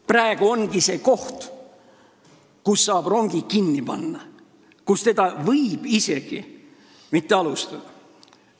Praegu ongi see moment, kui saab rongi kinni peatada ja seda ehitust mitte alustada.